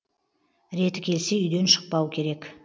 реті келсе үйден шықпау керек